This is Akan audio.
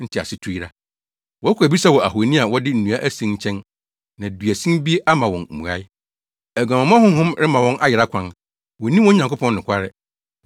ntease tu yera. Wɔkɔ abisa wɔ ahoni a wɔde nnua asen nkyɛn na duasin bi ama wɔn mmuae. Aguamammɔ honhom rema wɔn ayera kwan; wonni wɔn Nyankopɔn nokware.